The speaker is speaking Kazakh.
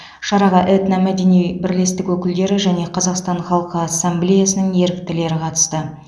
шараға этно мәдени бірлестік өкілдері және қазақстан халқы ассамблеясының еріктілері қатысты